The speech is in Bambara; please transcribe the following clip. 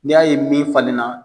N'i y'a ye min falenna